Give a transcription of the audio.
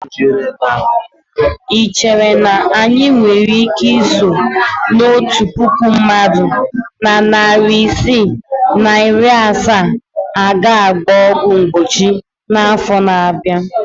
Ị chere na anyị nwere ike iso na otu puku mmadụ na narị isii na iri asaa a ga-agba ọgwụ mgbochi n'afọ na-abịa?